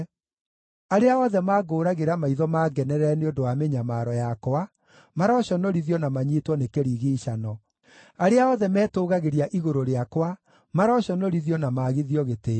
Arĩa othe mangũũragĩra maitho mangenerere nĩ ũndũ wa mĩnyamaro yakwa maroconorithio na manyiitwo nĩ kĩrigiicano; arĩa othe metũũgagĩria igũrũ rĩakwa maroconorithio na maagithio gĩtĩĩo.